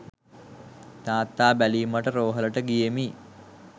තාත්තා බැලීමට රෝහලට ගියෙමි